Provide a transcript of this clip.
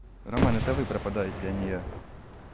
роман это вы пропадаете а не я